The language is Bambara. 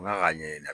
Ala k'a ɲɛɲini